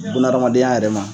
Buna adamadenya yɛrɛ ma